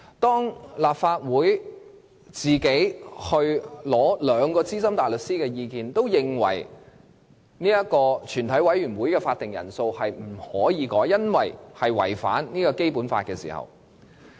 本會向兩位資深大律師徵詢的意見均顯示，全體委員會的法定人數不能修改，因為有機會違反《基本法》。